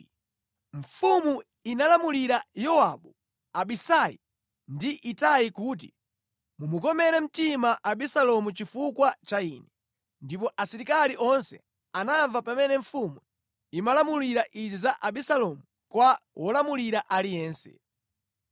Mfumu inalamulira Yowabu, Abisai ndi Itai kuti, “Mumukomere mtima Abisalomu chifukwa cha ine.” Ndipo asilikali onse anamva pamene mfumu imalamula izi za Abisalomu kwa wolamulira aliyense.